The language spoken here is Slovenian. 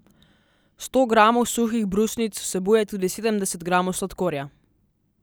Sto gramov suhih brusnic vsebuje tudi sedemdeset gramov sladkorja.